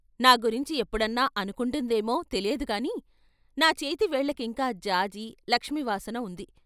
నా గురించి ఎప్పుడన్నా అనుకుంటుందేమో తెలియదుగాని నా చేతి వేళ్ళకింకా జాజీ, లక్ష్మీ వాసన ఉంది.